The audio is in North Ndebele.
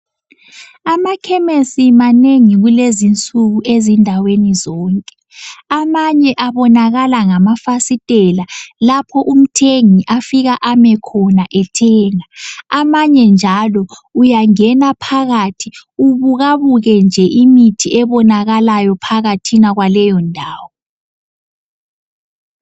Amakhemisi manengi kulezi insuku ezindaweni zonke, amanye abonakala ngamafasitela lapho umthengi afika ame khona ethenga. Amanye njalo uyangena phakathi ubukabuke nje imithi ebonakalayo phakathi kwaleyondawo.